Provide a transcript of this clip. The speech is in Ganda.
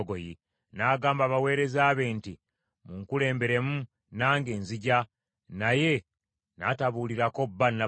N’agamba abaweereza be nti, “Munkulemberemu, nange nzija.” Naye n’atabuulirako bba Nabali.